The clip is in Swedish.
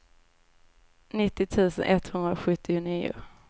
nittio tusen etthundrasjuttionio